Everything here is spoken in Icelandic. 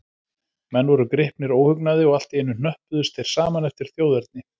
Menn voru gripnir óhugnaði, og allt í einu hnöppuðust þeir saman eftir þjóðerni.